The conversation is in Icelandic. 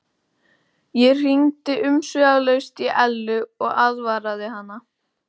Ég hringdi umsvifalaust í Ellu og aðvaraði hana.